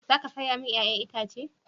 Za ka saya mini 'ya'yan itace?